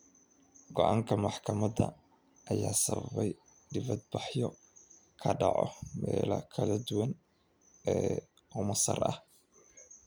Go’aanka maxkamadda ayaa sababay dibadbaxyo ka dhacay meelo kala duwan oo Masar ah.